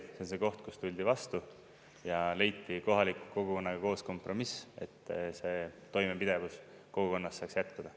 See on see koht, kus tuldi vastu ja leiti kohaliku kogukonnaga koos kompromiss, et see toimepidevus kogukonnas saaks jätkuda.